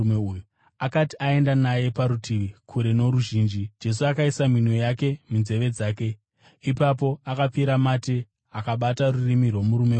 Akati aenda naye parutivi, kure noruzhinji, Jesu akaisa minwe yake munzeve dzake. Ipapo akapfira mate akabata rurimi rwomurume uya.